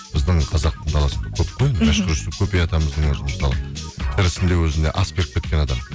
біздің қазақтың даласында көп қой енді мәшһүр жүсіп көпей атамыздң өзі мысалы тірісінде өзіне ас беріп кеткен адам